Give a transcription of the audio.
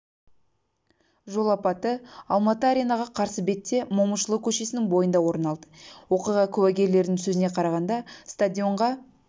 жол апаты алматы аренаға қарсы бетте момышұлы көшесінің бойында орын алды оқиға куәгерлерінің сөзіне қарағанда стадионға